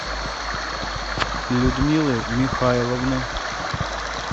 людмилы михайловны